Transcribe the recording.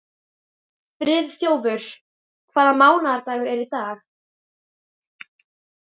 Friðþjófur, hvaða mánaðardagur er í dag?